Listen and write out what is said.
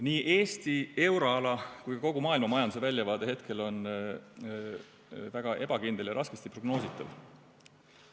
Nii Eesti, euroala kui ka kogu maailma majanduse väljavaade hetkel on väga ebakindel ja raskesti prognoositav.